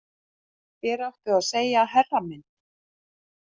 Þér áttuð að segja herra minn